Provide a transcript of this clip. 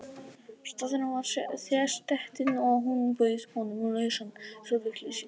Staðurinn var þéttsetinn og hún bauð honum lausan stól við hlið sér.